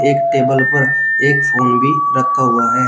एक टेबल पर एक फोन भी रखा हुआ है।